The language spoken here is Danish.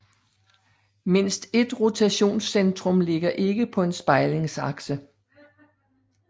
Mindst ét rotationscentrum ligger ikke på en spejlingsakse